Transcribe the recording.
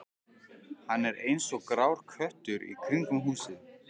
Hann er eins og grár köttur í kringum húsið.